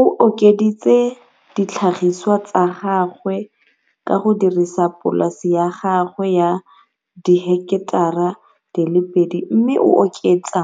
O okeditse ditlhagisiwa tsa gagwe ka go dirisa polase ya gagwe ya diheketara di le pedi mme a oketsa